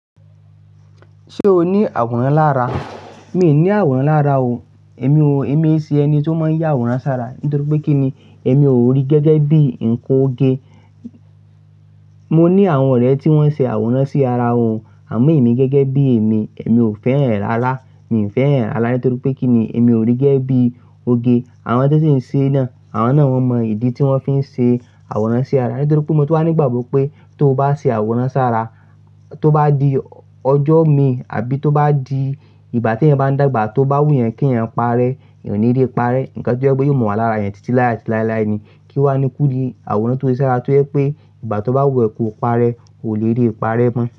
Ṣé o ní àwòrán lára? Mi ò ní àwòrán lára o. Èmi ò, èmi iṣe ẹni tó máa ń yà àwòrán sára. Nítorí pé kí ni? Èmi ò rí gẹ́gẹ́ bí nǹkan óge Mo ní àwọn ọ̀rẹ́ tí wọ́n ṣe àwòrán sí ara wọn, àmọ́ èmi gẹ́gẹ́ bí èmi, èmi ò fẹ́ran ẹ́ rárá. Mi ò fẹ́ hàn ẹ́ rárá nítorí pé kí ni? Èmi ò rí gẹ́gẹ́ bí ó gẹ. Àwọn tí wọ́n ṣe náà, àwọn náà wọ́n mọ ìdí tí wọ́n fi ṣe àwòrán sí ara. Nítorí pé mo tu wáa ní ìgbàgbọ́ pé tó bá ṣe àwòrán sára, tó bá di ọjọ́ mi àbí tó bá di ìgbà tí eeyan bá ń dàgbà tó bá wù ẹyin kí ẹ̀yin parẹ́, ẹ̀yin ò ní lè parẹ́. Nǹkan tó jẹ́ pé yóò mọ́ wàlára eeyah títí lái àti láilái ni kí ó wá ni kú di àwòrán tó ṣe sára tó jẹ́ pé ìgbà tó bá wù ẹ́ ko parẹ́, o le rí parẹ́ mọ́.